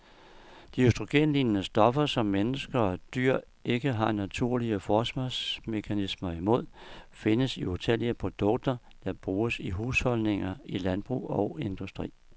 De østrogenlignende stoffer, som mennesker og dyr ikke har naturlige forsvarsmekanismer imod, findes i utallige produkter, der bruges i husholdninger, i landbrug og industri.